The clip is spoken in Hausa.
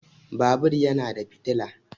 Babur yana da fitila